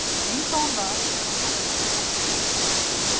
Eins og hann var þegar hann fór að að hitta pabba sinn.